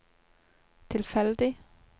tilfeldig